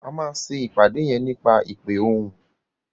A má ṣe ìpàdé yén nípa ìpè òhún